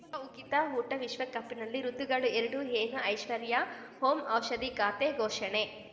ಈಗ ಉಕಿತ ಊಟ ವಿಶ್ವಕಪ್‌ನಲ್ಲಿ ಋತುಗಳು ಎರಡು ಏನು ಐಶ್ವರ್ಯಾ ಓಂ ಔಷಧಿ ಖಾತೆ ಘೋಷಣೆ